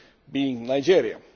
being Nigeria.